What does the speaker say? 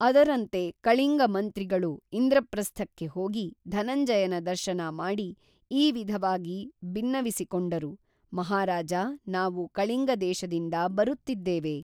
ಅದರಂತೆ ಕಳಿಂಗ ಮಂತ್ರಿಗಳು ಇಂದ್ರಪ್ರಸ್ಥಕ್ಕೆ ಹೋಗಿ ಧನಂಜಯನ ದರ್ಶನ ಮಾಡಿ ಈ ವಿಧವಾಗಿ ಬಿನ್ನವಿಸಿಕೊಂಡರು ಮಹಾರಾಜಾ ನಾವು ಕಳಿಂಗದೇಶದಿಂದ ಬರುತ್ತಿದ್ದೇವೆ